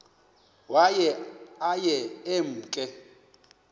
waye aye emke